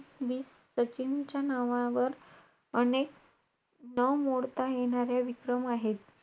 खरं सांगू कंटाळा कधीच येत नाही मला तर येत नाही खरं सांगू आता चार पेपर झालेलेत पेपर सगळे मला कळाले.